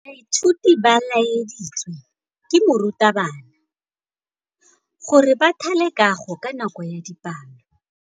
Baithuti ba laeditswe ke morutabana gore ba thale kagô ka nako ya dipalô.